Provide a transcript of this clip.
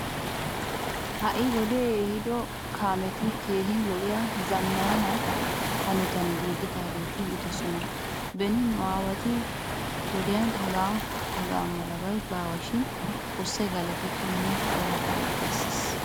Ha"i wode ehido kaameti keehin lo'iya zammaana hanotan giigidaageeti yiidosona. Beni nu aawatu wodiyan hagaa haga malabay baawa shin xoossay galatetto nuna darobaa bessiis.